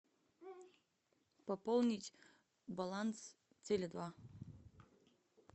пополнить баланс теле два